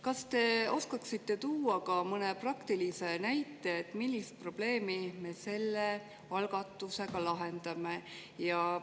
Kas te oskaksite tuua ka mõne praktilise näite, millist probleemi me selle algatusega lahendame?